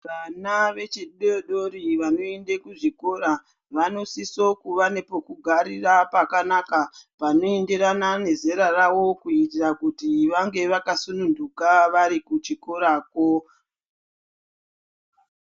Vana vechidodori vanoenda kuzvikora vanosise kuva nepekugarira pakanaka. Panoenderana nezera ravo kuitira kuti vange vakasunhuka vari kuchikorakwo. .